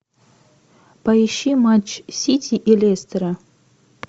поищи матч сити и лестера